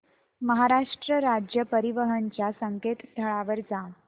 महाराष्ट्र राज्य परिवहन च्या संकेतस्थळावर जा